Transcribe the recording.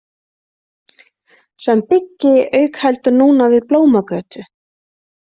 Sem byggi auk heldur núna við Blómagötu.